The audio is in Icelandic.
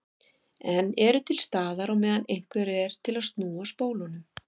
En eru til staðar á meðan einhver er til að snúa spólunum.